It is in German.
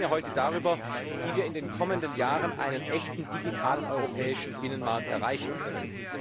Wir sprechen ja heute darüber, wie wir in den kommenden Jahren einen echten digitalen europäischen Binnenmarkt erreichen können.